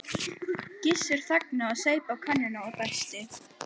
Gissur þagnaði, saup af könnunni og dæsti.